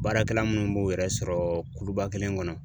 Baarakɛla munnu b'u yɛrɛ sɔrɔ kuluba kelen kɔnɔ.